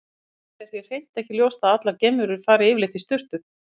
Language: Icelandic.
Til dæmis er hér hreint ekki ljóst að allar geimverur fari yfirleitt í sturtu.